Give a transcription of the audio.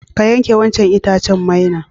Ka yanke wancan itacen maina.